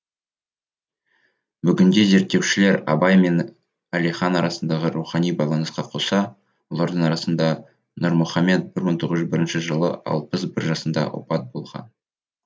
бүгінде зерттеушілер абай мен әлихан арасындағы рухани байланысқа қоса олардың арасында нұрмұхамед бір мың тоғыз жүз бірінші жылы алпыс бір жасында опат болған